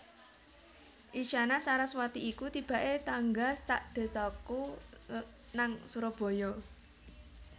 Isyana Saraswati iku tibak e tangga sak desaku nang Surabaya